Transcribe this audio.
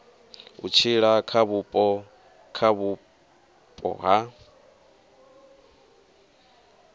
u tshila kha vhupo ha